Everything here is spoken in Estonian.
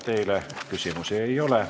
Teile küsimusi ei ole.